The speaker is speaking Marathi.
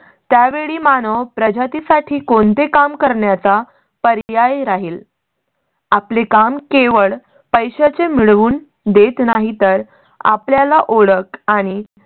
त्या वेळी मानव प्रजातीसाठी कोणते काम करण्याचा पर्याय राहील. आपली काम केवळ पैशा चे मिळवून देत नाही तर आपल्याला ओळख आणि